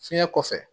Fiɲɛ kɔfɛ